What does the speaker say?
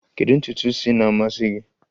Kedu ntutu isi na-amasị gị?